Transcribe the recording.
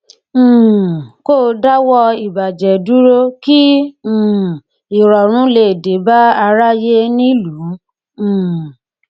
um kó dáwọ ìbàjẹ dúró kí um irọrùn lè dé bá aráyé nílùú um